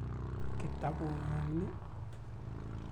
Kitaput ng'ung' ni ii?